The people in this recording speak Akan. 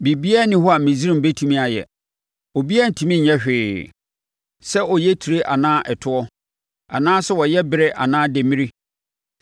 Biribiara nni hɔ a Misraim bɛtumi ayɛ; obiara rentumi nyɛ hwee, sɛ ɔyɛ etire anaa ɛtoɔ, anaa sɛ ɔyɛ berɛ anaa demmire.